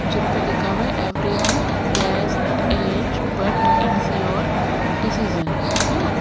जिन पर लिखा हुआ है everyone guest aged but it's your decision है ना--